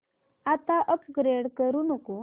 आता अपग्रेड करू नको